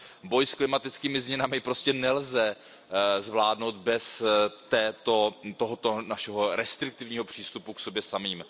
Boj s klimatickými změnami prostě nelze zvládnout bez tohoto našeho restriktivního přístupu k sobě samým.